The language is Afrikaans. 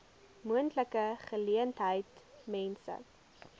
moontlike geleentheid mense